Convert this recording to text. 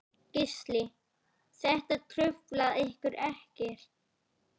Gísli: Þetta truflar ykkur ekkert?